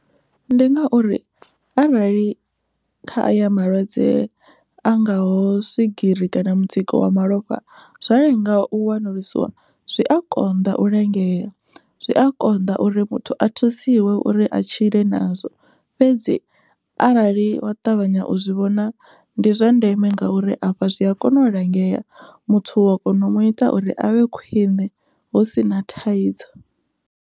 Ndi ngauri arali kha aya malwadze a ngaho swigiri kana mutsiko wa malofha zwa lenga u wanulusiwa zwi a konḓa u lingea, zwi a konḓa uri muthu a thusiwe uri a tshile nazwo fhedzi arali wa ṱavhanya u zwi vhona ndi zwa ndeme ngauri afha zwi a kona u langea muthu u wa kona u mu ita uri avhe khwine hu si na thaidzo.